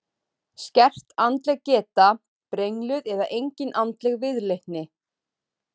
Skert andleg geta, brengluð eða engin andleg viðleitni.